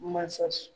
Masa